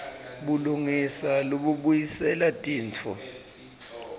bulungisa lobubuyisela tintfo